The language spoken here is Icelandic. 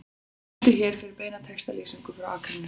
Smelltu hér fyrir beina textalýsingu frá Akranesi